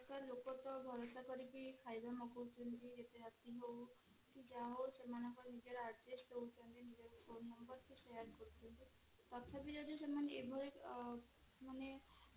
ଲୋକ ସହ ଭରସା କରିକି କି ଯାହା ହଉ ସେମାନଙ୍କ ନିଜର address ଦଉଛନ୍ତି ନିଜର phone number ବି share କରୁଛନ୍ତି ତଥାପି ଯଦି ସେମାନେ ଏଭଳି ଅ ମାନେ